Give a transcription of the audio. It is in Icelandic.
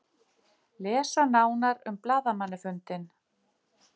Lesa nánar um blaðamannafundinn.